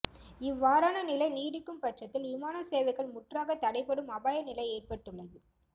இவ்வாறான நிலை நீடிக்கும் பட்சத்தில் விமான சேவைகள் முற்றாக தடைப்படும் அபாய நிலை ஏற்பட்டுள்ளது